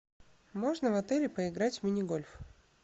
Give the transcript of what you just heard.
можно в отеле поиграть в мини гольф